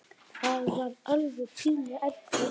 Það var alveg pínu erfitt.